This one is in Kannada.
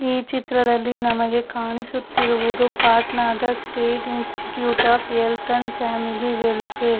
ಈ ಚಿತ್ರದಲ್ಲಿ ನಮಗೆ ಕಾಣಿಸುತ್ತಿರುವುದು ಪಾಟ್ನಾದ state institute of health and family welfare .